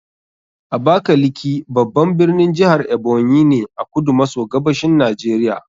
Abakaliki babban birnin jihar Ebonyi ne a kudu maso gabashin Najeriya